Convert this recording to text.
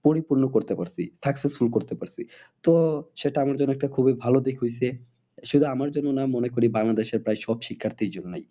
পরিপূর্ন করতে পারছি successful করতে পারছি। তো সেটা আমার জন্য একটা খুবই ভালো দিক হয়েছে। শুধু আমার জন্য না মনে করি বাংলাদেশের প্রায় সব শিক্ষার্থীর জন্যই।